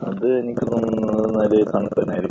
അത് എനിക്ക് തോന്നുന്നത് എന്താണെന്ന് വെച്ചാൽ തണുപ്പ് തന്നെയായിരിക്കും.